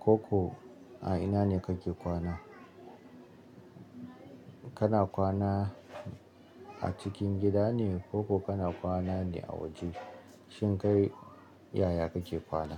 Ko ko a ina ne kake kwana? Kana kwana a cikin gida ne ko ko kana kwana ne a waje? Shin kai yaya kake kwana?